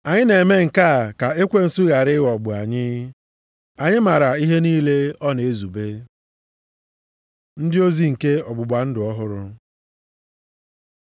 Anyị na-eme nke a ka Ekwensu ghara ịghọgbu anyị. Anyị maara ihe niile ọ na-ezube. Ndị ozi nke ọgbụgba ndụ ọhụrụ